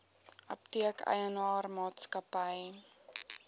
apteek eienaar maatskappy